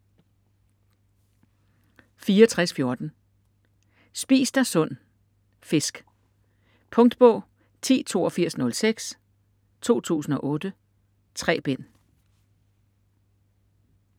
64.14 Spis dig sund - fisk Punktbog 108206 2008. 3 bind.